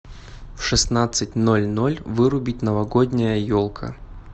в шестнадцать ноль ноль вырубить новогодняя елка